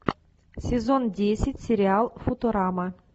сезон десять сериал футурама